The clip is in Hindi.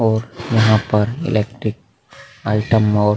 और यहाँ पर एल्क्ट्रिक आइटम और--